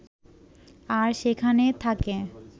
আর সেখানে থাকে